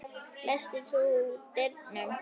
Læstir þú dyrunum?